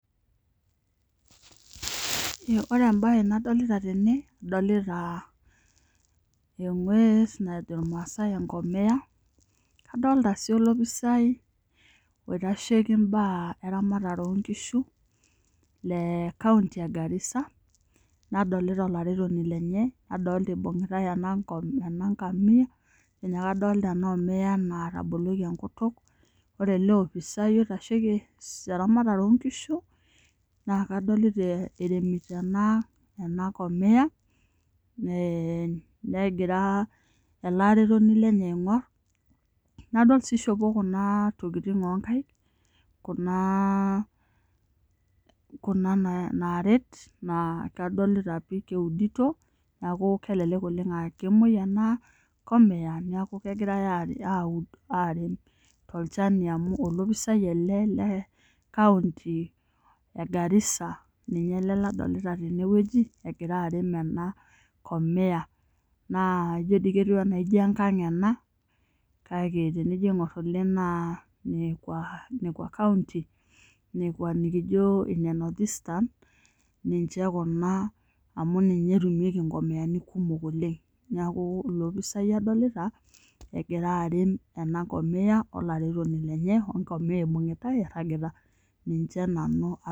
Ore entoki nadolita tena, adolita egwes najo irmaasae enkomea, adolita sii olopisaai oitasheki eramatare oonkishu le kaonty egarisa ,nadolita olaretoni lenye, adolita eibungitae enaa amia ,ijo ninye kadolita ena amia enaa etaboloki enkutuk. Ore ele opisaani oitasheki eramatare oonkishu naa kadolita eremito ena komia negira ele aretoni lenye aingor. Nadol sii eishopo kuna tokiting oonkaek Kuna naret naa kadolita pi keudito. Neeku kelelek oleng aa kemwoi ena kamiya neeku kegirae aud arem tolchani amu olopisaai ele lekaonty egarisa ninye ele kadolita teneweji egira arem ena komiya. Naa ketiu doi enaa ijo enkang ena, kake tenijo aingor naa nekwa kaonty nikijo ne north eastern, ninche Kuna amu ninche etumieki nkomiyani kumok oleng. Neeku olopisaai adolita egira arem ena kamiya olaretoni lenye wena komiya neeku ninche nanu adolita.